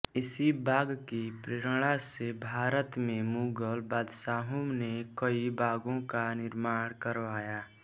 इसी बाग की प्रेरणा से भारत में मुगल बादशाहों ने कई बागों का निर्माण करवाया